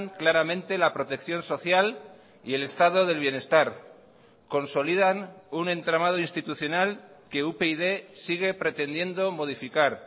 claramente la protección social y el estado del bienestar consolidan un entramado institucional que upyd sigue pretendiendo modificar